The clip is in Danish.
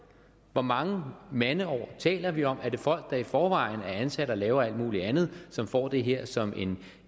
hvor mange mandeår taler vi om er det folk der i forvejen er ansat og laver alt muligt andet som får det her som